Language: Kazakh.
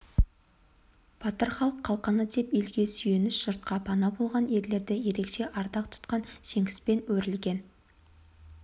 батыр халық қалқаны деп елге сүйеніш жұртқа пана болған ерлерді ерекше ардақ тұтқан жеңіспен өрілген